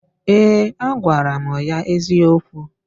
Ee, agwara m ya eziokwu.